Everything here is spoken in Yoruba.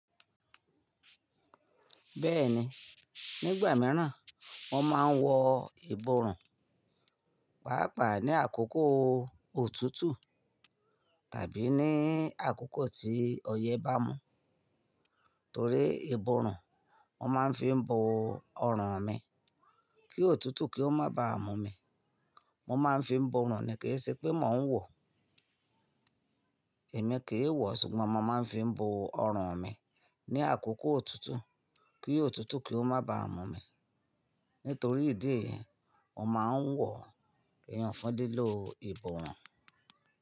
Bẹ́ẹ̀ni, nígbà mìíràn wọ́n máa ń wọ iborùn, pàápàá ní àkókò òtútù tàbí ní àkókò tí ọyẹ́ bá mú. Torí iborùn, mo máa ń fi bo ọrùn mi kí òtútù kí ó má baà mú mi. Mo máa ń fi borùn ni kì í ṣe pé mò ń wọ. Ẹ̀mí kì e wọ̀, ṣùgbọ́n mo máa ń fi bo ọrùn mi ní àkókò òtútù kí òtútù kí ó má baà mú mi. Nítorí ìdí èyìí, mo máa ń wọ ìyan fun lílo iborùn.